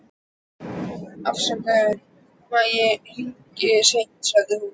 Afsakaðu hvað ég hringi seint, sagði hún.